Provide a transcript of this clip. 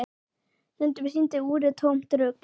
Stundum sýndi úrið tómt rugl.